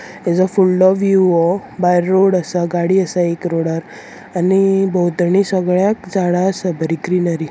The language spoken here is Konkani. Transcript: हे जो फुडलो विव हो भायर रोड आसा गाडी आसा एक रोडार आनी भोवतणी सगळ्याक झाडा आसा बरी ग्रीनरी .